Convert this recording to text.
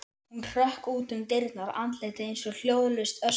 Hún hrökk út um dyrnar, andlitið eins og hljóðlaust öskur.